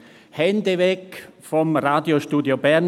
«Hände weg vom Radiostudio Bern